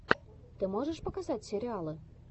ты можешь показать сериалы